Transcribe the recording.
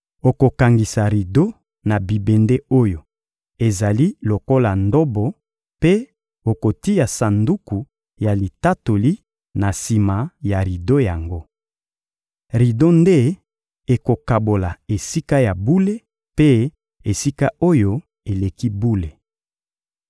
Okokangisa rido na bibende oyo ezali lokola ndobo mpe okotia Sanduku ya Litatoli na sima ya rido yango. Rido nde ekokabola Esika ya bule mpe Esika-Oyo-Eleki-Bule.